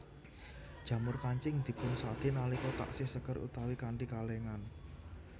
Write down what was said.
Jamur kancing dipunsadé nalika taksih seger utawi kanthi kalèngan